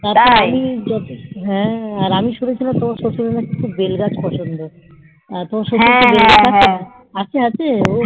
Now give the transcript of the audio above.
হ্যাঁ আর আমি শুনেছি নাকি তোর শশুরের নাকি খুব বেল গাছ পছন্দ আছে আছে